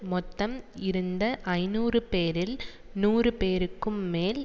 மொத்தம் இருந்த ஐநூறு பேரில் நூறு பேருக்கும் மேல்